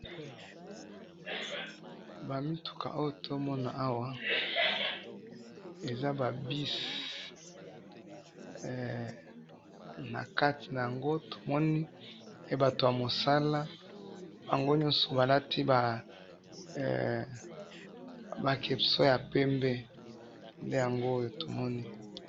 Awa tozomona ba bus na batu ya mosala na kati, bango nyoso balati ba kepi ya pembe.